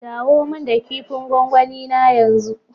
Dawo min da kipin gwangwani na yanzu.